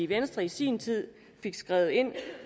venstre i sin tid fik skrevet ind